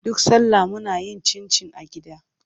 Duk salla muna yin cincin a gida.